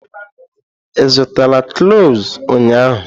Ị zụtara cloves ụnyaahụ?